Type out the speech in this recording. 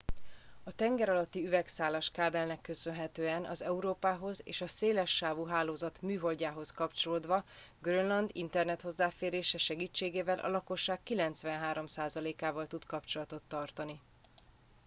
a tengeralatti üvegszálas kábelnek köszönhetően az európához és a szélessávú hálózat műholdjához kapcsolódva grönland internethozzáférése segítségével a lakosság 93%-ával tud kapcsolatot tartani